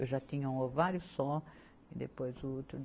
Eu já tinha um ovário só, e depois o útero.